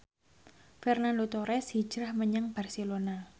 Fernando Torres hijrah menyang Barcelona